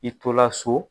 I tola so